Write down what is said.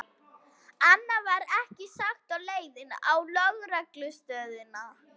Annað var ekki sagt á leiðinni á lögreglustöðina.